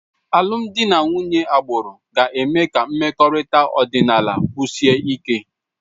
Alụmdi na nwunye agbụrụ ga-eme ka mmekọrịta ọdịnala sikwuo ike